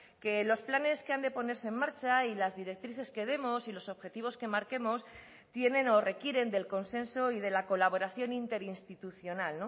que los planes que han de ponerse en marcha y las directrices que demos y los objetivos que marquemos tienen o requieren del consenso y de la colaboración interinstitucional